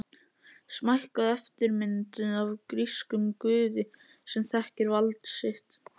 Smækkuð eftirmynd af grískum guði sem þekkir vald sitt.